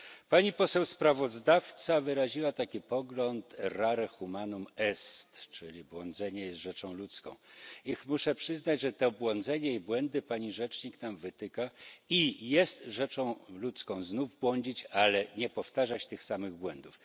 Pani poseł sprawozdawca wyraziła taki pogląd, czyli błądzenie jest rzeczą ludzką, i muszę przyznać, że to błądzenie i błędy pani rzecznik nam wytyka, i jest rzeczą ludzką znów błądzić, ale nie powtarzać tych samych błędów.